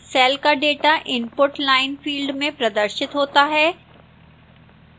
cell का data input line field में प्रदर्शित होता है